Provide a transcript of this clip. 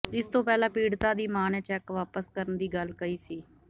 ਇਸ ਤੋਂ ਪਹਿਲਾਂ ਪੀੜਤਾ ਦੀ ਮਾਂ ਨੇ ਚੈਕ ਵਾਪਸ ਕਰਨ ਦੀ ਗੱਲ ਕਹੀ ਸੀ